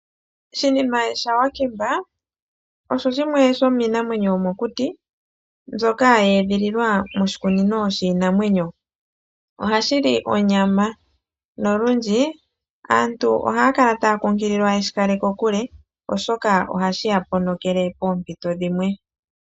Shinime shaWakemba osho shimwe shomiinamwenyo yomokuti mbyoka ya edhililwa moshikunino shiinamwenyo. Ohashi li onyama nolundji aantu ohaya kala taya kunkililwa ye shi kale kokule oshoka ohashi ya ponokele poompito dhimwe.